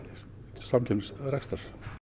samkeppnisrekstrar